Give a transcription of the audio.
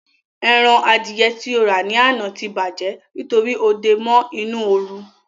Eran Adìẹ tí ó rà ní àná tí bàjẹ́ nítorí ó dé e mọ́ inú oru